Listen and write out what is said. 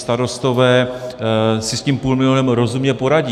Starostové si s tím půlmilionem rozumně poradí.